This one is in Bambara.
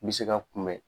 N bɛ se ka kunbɛn